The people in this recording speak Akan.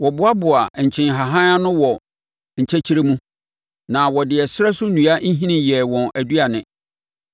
Wɔboaboaa nkyenhahan ano wɔ nkyɛkyerɛ mu, na wɔde ɛserɛ so nnua nhini yɛɛ wɔn aduane.